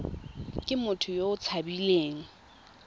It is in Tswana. ke motho yo o tshabileng